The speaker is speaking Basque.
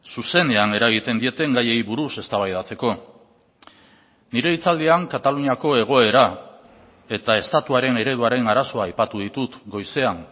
zuzenean eragiten dieten gaiei buruz eztabaidatzeko nire hitzaldian kataluniako egoera eta estatuaren ereduaren arazoa aipatu ditut goizean